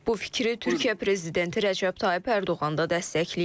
Bu fikri Türkiyə prezidenti Rəcəb Tayyip Ərdoğan da dəstəkləyib.